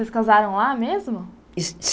Vocês casaram lá mesmo?